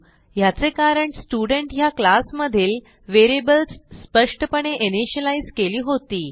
ह्याचे कारणStudent ह्या क्लास मधील व्हेरिएबल्स स्पष्टपणे इनिशियलाईज केली होती